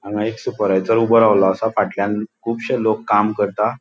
हांगा एक सुपरवायसर ऊबो रावलों असा. फाटल्यान खुबशे लोक काम करता.